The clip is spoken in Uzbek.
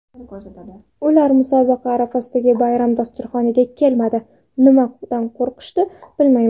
Ular musobaqa arafasidagi bayram dasturxoniga kelmadi, nimadan qo‘rqishdi, bilmayman.